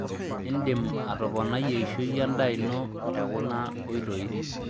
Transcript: Indim atoponai eishoi endaa ino tekuna oitoi.